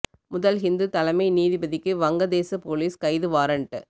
முதல் ஹிந்து தலைமை நீதிபதிக்கு வங்க தேச போலீஸ் கைது வாரன்ட்